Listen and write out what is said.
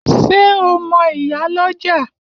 Ṣé o mo ìyálọ́jà?